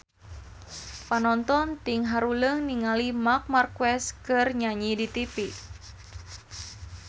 Panonton ting haruleng ningali Marc Marquez keur nyanyi di tipi